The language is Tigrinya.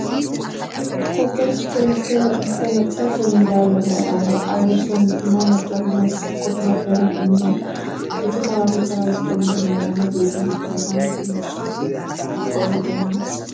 ኮብል ስቶን ዝተነፀፈ ሜዳ ይርአ ኣሎ፡፡ ኣብ ወሰኑ ድማ መድረክ ዝመስል ኮፍ መበሊ እኒሐ፡፡ እቲ ከባቢ ፅላል ዝኸውን ልምላመ ዘይብሉ ብምዃኑ ግን ንኡሽተይ ዘኽፍአሉ ዶ ይመስል?